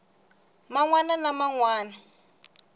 man wana ni man wana